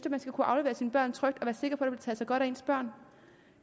man skal kunne aflevere sine børn trygt og sig godt af ens børn